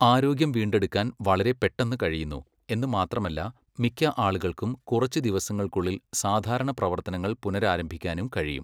ആരോഗ്യം വീണ്ടെടുക്കാൻ വളരെ പെട്ടെന്ന് കഴിയുന്നു, എന്ന് മാത്രമല്ല മിക്ക ആളുകൾക്കും കുറച്ച് ദിവസങ്ങൾക്കുള്ളിൽ സാധാരണ പ്രവർത്തനങ്ങൾ പുനരാരംഭിക്കാനും കഴിയും.